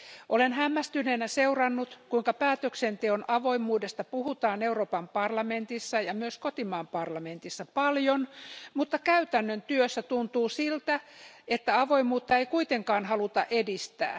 Olen hämmästyneenä seurannut, kuinka päätöksenteon avoimuudesta puhutaan Euroopan parlamentissa ja myös kotimaan parlamentissa paljon, mutta käytännön työssä tuntuu siltä, että avoimuutta ei kuitenkaan haluta edistää.